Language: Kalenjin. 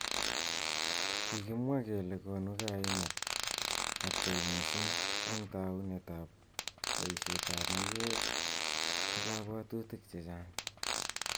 Kikimwa kele konu kaimet ab kei missing ak taunet ab boishet ab mayek ak kabwatutik chechang.